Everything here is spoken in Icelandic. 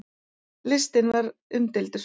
Listinn var umdeildur.